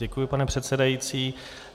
Děkuji, pane předsedající.